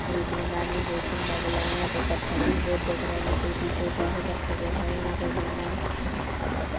मैदान भी बहुत सुन्दर डला है यहाँ पे पत्थर भी बहोत दिख रहे है छोटी - छोटी - सी पत्थर दिख रहे है यहाँ पे मैदान अलग --